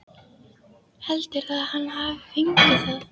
Heldurðu að hann hafi fengið það?